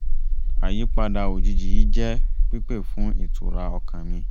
àyípadà òjijì yìí jẹ́ pípé fún ìtura ọkàn mi